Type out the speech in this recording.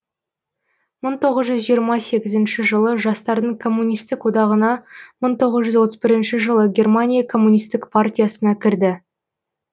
мың тоғыз жүз жиырма сегізінші жылы жастардың коммунистік одағына мың тоғыз жүз отыз бірінші жылы германия коммунистік партиясына кірді